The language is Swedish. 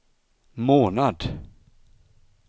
månad